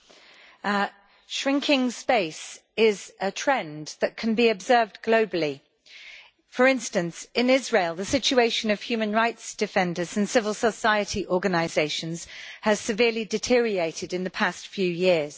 Mr President, shrinking space is a trend that can be observed globally. For instance, in Israel, the situation of human rights defenders and civil society organisations has severely deteriorated in the past few years.